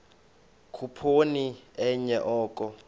khuphoni enye oko